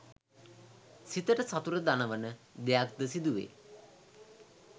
සිතට සතුට දනවන දෙයක් ද සිදුවේ